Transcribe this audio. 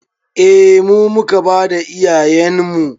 Eh mu muka bada iyayenmu